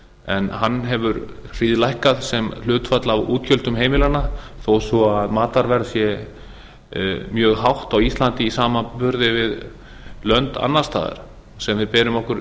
en hann hefur hríðlækkað sem hlutfall af útgjöldum heimilanna þó svo matarverð sé mjög hátt á íslandi í samanburði við lönd annars staðar sem við berum okkur